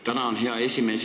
Tänan, hea esimees!